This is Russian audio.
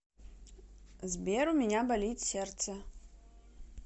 сбер у меня болит сердце